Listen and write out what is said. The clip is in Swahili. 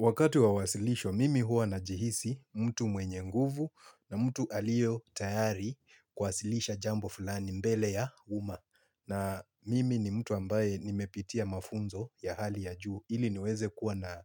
Wakati wa wasilisho, mimi huwa najihisi mtu mwenye nguvu na mtu aliyetayari kuwasilisha jambo fulani mbele ya umma. Na mimi ni mtu ambaye nimepitia mafunzo ya hali ya juu ili niweze kuwa na